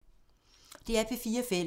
DR P4 Fælles